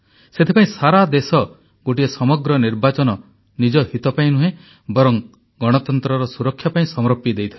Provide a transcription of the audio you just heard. ସେଥିପାଇଁ ସାରା ଦେଶ ଗୋଟିଏ ସମଗ୍ର ନିର୍ବାଚନ ନିଜ ହିତ ପାଇଁ ନୁହେଁ ବରଂ ଗଣତନ୍ତ୍ରର ସୁରକ୍ଷା ପାଇଁ ସମର୍ପି ଦେଇଥିଲା